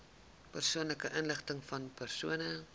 persoonlike inligtingvan persone